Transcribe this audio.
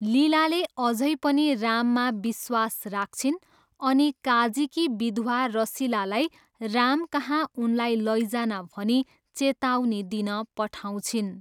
लीलाले अझै पनि राममा विश्वास राख्छिन् अनि काजीकी विधवा रसिलालाई रामकहाँ उनलाई लैजान भनी चेतावनी दिन पठाउँछिन्।